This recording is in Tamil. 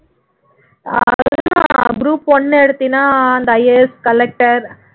அது தான் group one எடுத்தீன்னா அந்த IAS collector